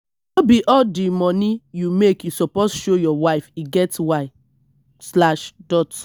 no be all di moni you make you suppose show your wife e get why slash dot